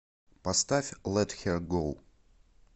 поставь лет хер гоу